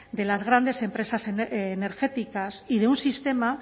de las grandes empresas energéticas y de un sistema